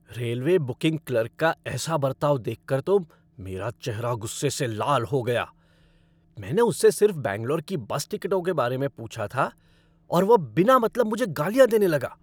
Railway booking clerk का ऐसा बर्ताव देखकर तो मेरा चेहरा गुस्से से लाल हो गया, मैंने उससे सिर्फ बैंगलोर की बस टिकटों के बारे में पूछा था और वह बिना मतलब मुझे गालियाँ देने लगा।